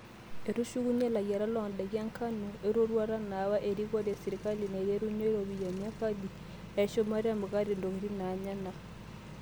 Etusukenya layiarak loodaiki enkanu erotuata naawa erikore esirkali naiterunye iropiyiani e kodi eshumata e mukate ontokitin enyanak.